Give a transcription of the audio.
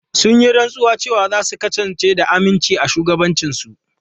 Sun yi rantsuwa cewa za su kasance da aminci a shugabancinsu.